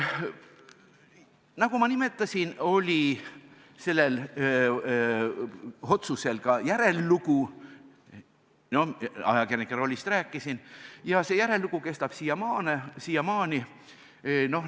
Nagu ma nimetasin, oli sellel otsusel ka järellugu – ajakirjanike rollist rääkisin –, ja see järellugu kestab siiamaani.